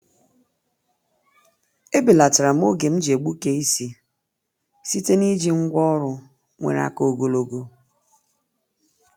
E belatara'm oge m ji egbuke isi site n’iji ngwá ọrụ nwere aka ogologo.